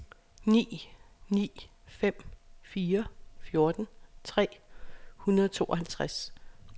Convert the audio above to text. ni ni fem fire fjorten tre hundrede og tooghalvtreds